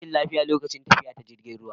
Na yi rashin lafiya lokacin tafiya ta jirgin ruwa